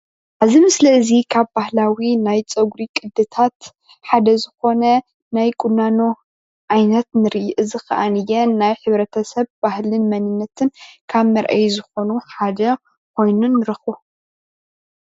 እዚ ምስሊ እዚ ካብ ባህላዊ ናይ ፀጉሪ ቅድታት ሓደ ዝኮነ ናይ ቁናኖ ዓይነት ንርኢ ፡፡ እዚ ካዓነ ናይሕ/ሰብ ባህልን መንነትን ካብ መርአይ ዝኮኑ ሓደ ኮይኑ ንረክብ፡፡